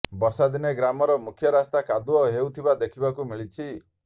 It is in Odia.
ବର୍ଷାଦିନେ ଗ୍ରାମର ମୁଖ୍ୟ ରାସ୍ତା କାଦୁଅ ହେଉଥିବା ଦେଖିବାକୁ ମିଳିଛି